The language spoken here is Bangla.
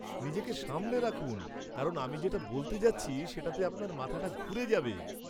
নিজেকে সামলে রাখুন কারণ আমি যেটা বলতে যাচ্ছি সেটাতে আপনার মাথাটা ঘুরে যাবে!